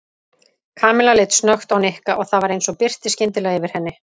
Kamilla leit snöggt á Nikka og það var eins og birti skyndilega yfir henni.